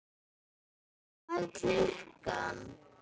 Hvað er klukkan?